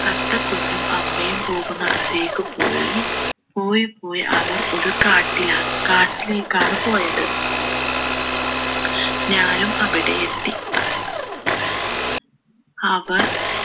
തത്ത കുഞ്ഞും അമ്മയും പോകുന്നിടത്തേക്ക് പോയി പോയി പോയി അവർ ഒരു കാട്ടിലാണ് കാട്ടിലേക്കാണ് പോയത് ഞാനും അവിടെയെത്തി അവർ